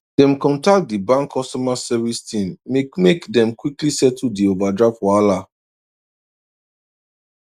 dem contact di bank customer service team make make dem quickly settle di overdraft wahala